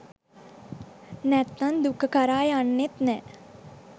නැත්නම් දුක කරා යන්නෙත් නෑ.